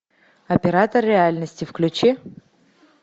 оператор реальности включи